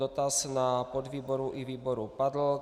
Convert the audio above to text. Dotaz na podvýboru i výboru padl.